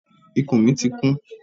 Ikùn mi ti kún.